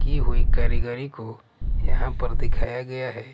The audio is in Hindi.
की हुई कारीगरी को यहाँ पर दिखाया गया है।